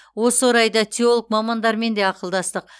осы орайда теолог мамандармен де ақылдастық